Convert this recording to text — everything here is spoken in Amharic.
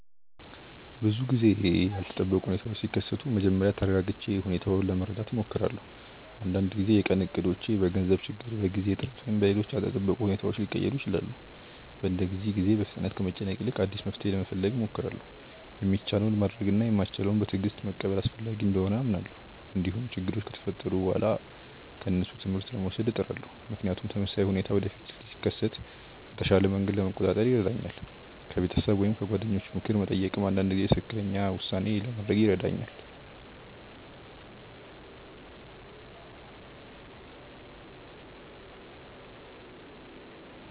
ብዙ ጊዜ ያልተጠበቁ ሁኔታዎች ሲከሰቱ መጀመሪያ ተረጋግቼ ሁኔታውን ለመረዳት እሞክራለሁ። አንዳንድ ጊዜ የቀን እቅዶች በገንዘብ ችግር፣ በጊዜ እጥረት ወይም በሌሎች ያልተጠበቁ ሁኔታዎች ሊቀየሩ ይችላሉ። በእንደዚህ ጊዜ በፍጥነት ከመጨነቅ ይልቅ አዲስ መፍትሔ ለመፈለግ እሞክራለሁ። የሚቻለውን ማድረግ እና የማይቻለውን በትዕግስት መቀበል አስፈላጊ እንደሆነ አምናለሁ። እንዲሁም ችግሮች ከተፈጠሩ በኋላ ከእነሱ ትምህርት ለመውሰድ እጥራለሁ፣ ምክንያቱም ተመሳሳይ ሁኔታ ወደፊት ሲከሰት በተሻለ መንገድ ለመቆጣጠር ይረዳኛል። ከቤተሰብ ወይም ከጓደኞች ምክር መጠየቅም አንዳንድ ጊዜ ትክክለኛ ውሳኔ ለማድረግ ይረዳኛል።